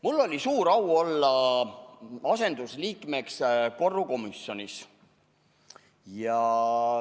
Mul oli suur au olla asendusliige korrukomisjonis.